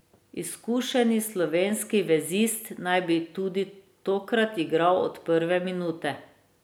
Izkušeni slovenski vezist naj bi tudi tokrat igral od prve minute.